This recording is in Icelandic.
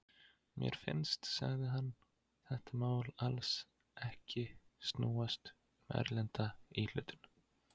Mér finnst, sagði hann, þetta mál alls ekki snúast um erlenda íhlutun.